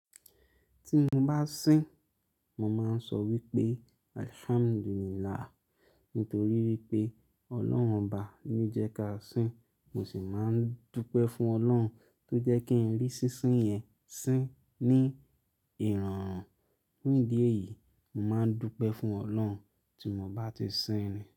Tí ń bá sín, mo máa ń sọ wípé "Alhamdulillah". Nítorí wípé Ọlọ́run baba ló jẹ́ ká sín, mo sì máa ń dúpẹ́ fún Ọlọ́run tó jẹ́ kí n rí sísín yẹn sín ní ìrọ̀rùn. Ní ìdí èyí, mo máa ń dúpẹ́ fún Ọlọ́run tí mo bá ti sín ni.